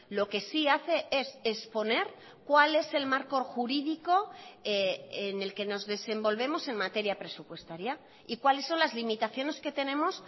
lo que sí hace es exponer cuál es el marco jurídico en el que nos desenvolvemos en materia presupuestaria y cuáles son las limitaciones que tenemos